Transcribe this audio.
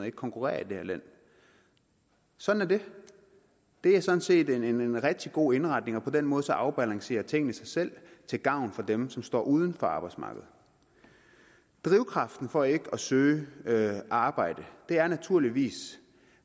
ikke konkurrere i det her land sådan er det det er sådan set en rigtig god indretning og på den måde afbalancerer tingene sig selv til gavn for dem som står uden for arbejdsmarkedet drivkraften for ikke at søge arbejde er naturligvis